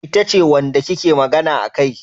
Ita ce wanda kike magana akai?